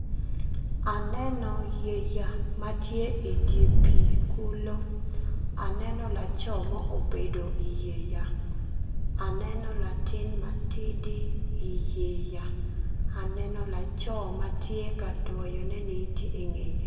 Aneno yeya ma tye i dye pii kulu aneno laco mo obedo i wi yeya aneno latin ma tidi i yeya aneno laco ma tye ka dwoyonene-ni tye i nge ye.